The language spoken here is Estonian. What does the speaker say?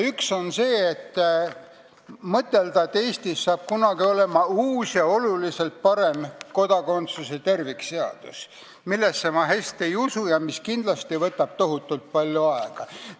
Üks on mõtelda, et Eestis saab kunagi olema uus ja oluliselt parem kodakondsuse tervikseadus, millesse ma hästi ei usu ja mis võtab kindlasti tohutult palju aega.